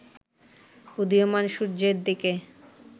উদীয়মান সূর্যের দিকে